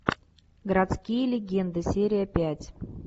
городские легенды серия пять